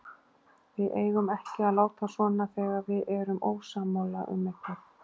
Við eigum ekki að láta svona þegar við erum ósammála um eitthvað.